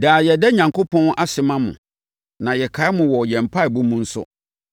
Daa yɛda Onyankopɔn ase ma mo, na yɛkae mo wɔ yɛn mpaeɛbɔ mu nso.